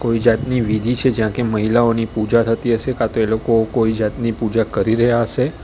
કોઈ જાતની વિધિ છે જ્યાં કે મહિલાઓની પૂજા થતી હશે કાં તો એલોકો કોઈ જાતની પૂજા કરી રહ્યા હશે.